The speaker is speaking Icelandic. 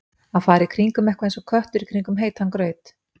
Að fara í kringum eitthvað eins og köttur í kringum heitan graut